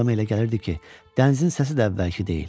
Adam elə gəlirdi ki, dənizin səsi də əvvəlki deyil.